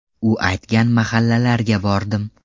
U aytgan mahallalarga bordim.